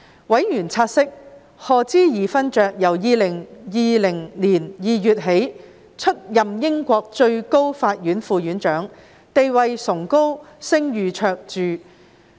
委員察悉，賀知義勳爵由2020年2月起出任英國最高法院副院長，地位崇高、聲譽卓著。